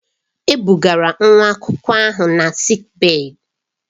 E bugara nwa akwụkwọ ahụ na sịịk bèyí.